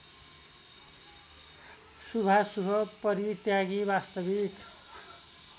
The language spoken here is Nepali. शुभाशुभ परित्यागी वास्तविक